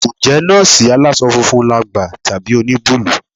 Ǹjẹ́ nọ́ọ̀sì aláṣọ funfun làgbà tàbí oníbúlù?